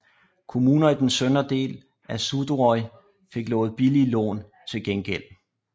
Kommunerne i den søndre del af Suðuroy fik lovet billige lån til gengæld